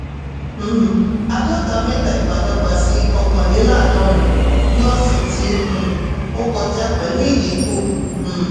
um àdọ́ta-mẹ́ta ìbádọ́gba sí okanleladorin ní ọ̀sẹ̀ tí um ó kọjá pẹ̀lú ìdínkù. um